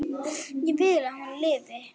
Ég vil að hún lifi.